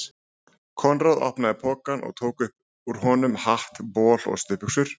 Konráð opnaði pokann og tók upp úr honum hatt, bol og stuttbuxur.